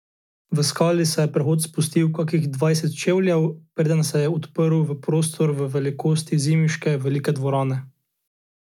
V skali se je prehod spustil kakih dvajset čevljev, preden se je odprl v prostor v velikosti zimiške velike dvorane.